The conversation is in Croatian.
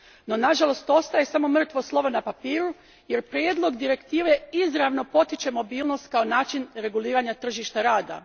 No, nažalost ostaje samo mrtvo slovo na papiru, jer prijedlog direktive izravno potiče mobilnost kao način reguliranja tržišta rada.